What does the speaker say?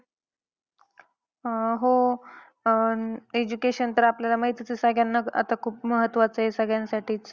अं हो, अं education तर आपल्याला माहीतीच आहे सगळ्यांना आता खूप महत्वाचं आहे सगळ्यांसाठीच.